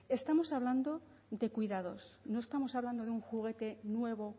estamos hablando de cuidado no estamos hablando de un juguete nuevo